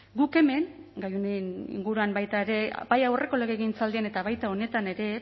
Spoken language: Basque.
guk hemen gai honen inguruan baita ere bai aurreko legegintzaldian eta baita honetan ere